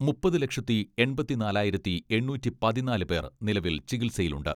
മുപ്പത് ലക്ഷത്തി എണ്പത്തി നാലായിരത്തി എണ്ണൂറ്റി പതിനാല് പേർ നിലവിൽ ചികിത്സയിലുണ്ട്.